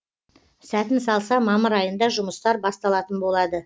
сәтін салса мамыр айында жұмыстар басталатын болады